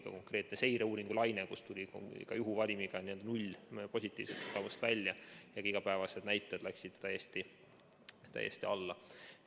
Oli konkreetne seireuuringulaine, kus tuli juhuvalimiga välja 0 positiivset ja ka igapäevased näitajad läksid täiesti alla.